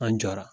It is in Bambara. An jɔra